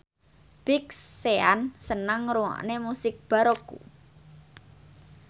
Big Sean seneng ngrungokne musik baroque